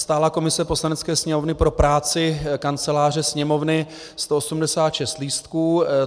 Stálá komise Poslanecké sněmovny pro práci Kanceláře Sněmovny 186 lístků.